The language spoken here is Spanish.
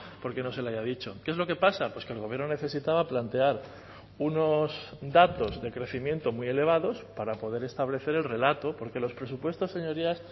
porque no se le haya dicho qué es lo que pasa pues que el gobierno necesitaba plantear unos datos de crecimiento muy elevados para poder establecer el relato porque los presupuestos señorías